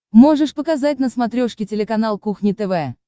можешь показать на смотрешке телеканал кухня тв